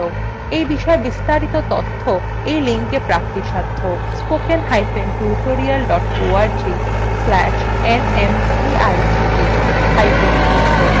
এই বিষয় বিস্তারিত তথ্য এই লিঙ্কএ প্রাপ্তিসাধ্য spoken hyphen tutorial dot org slash nmeict hyphen intro